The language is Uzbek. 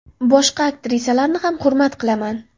Boshqa aktrisalarni ham hurmat qilaman.